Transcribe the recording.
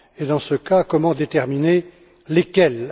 Dans ce cas, comment déterminer lesquels?